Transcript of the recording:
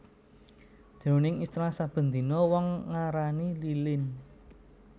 Jroning istilah saben dina wong ngarani lilin